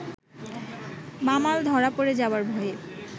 বামাল ধরা পড়ে যাবার ভয়ে